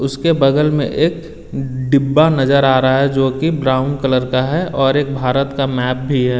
उसके बगल में एक डिब्बा नज़र आ रहा है जो कि ब्राउन कलर का है और एक भारत का मैप भी है।